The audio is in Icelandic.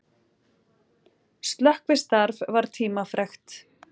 Slökkvistarf var tímafrekt